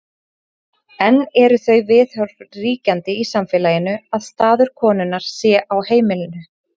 enn eru þau viðhorf ríkjandi í samfélaginu að staður konunnar sé á heimilinu